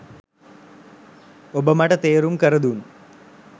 ඔබ මට තේරුම් කරදුන්